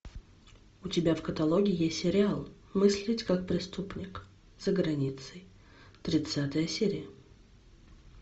у тебя в каталоге есть сериал мыслить как преступник за границей тридцатая серия